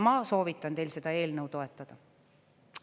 Ma soovitan teil seda eelnõu toetada.